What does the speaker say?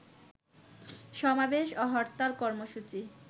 সমাবেশ ও হরতাল কর্মসূচি